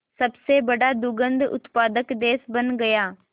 सबसे बड़ा दुग्ध उत्पादक देश बन गया